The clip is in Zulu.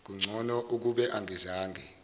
kungcono ukube angizange